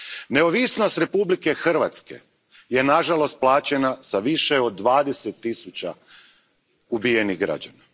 Neovisnost Republike Hrvatske nažalost je plaćena s više od dvadeset tisuća ubijenih građana.